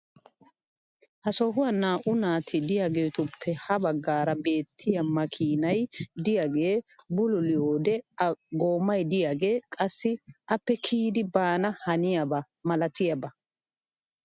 Ha sohuwan naa'u naati diyaageetuppe ya bagaara beetiya makkiinay diyaagee bulluliyoode a goomay diyaagee qassi appe kiyidi baana hanniyaaba malatiyaaba.